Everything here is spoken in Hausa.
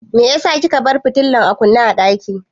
Meyasa kika bar fitilar a kunne a ɗaki?